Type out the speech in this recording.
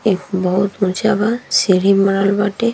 एक बहुत ऊँचा बा सीढ़ी बनल बाटे।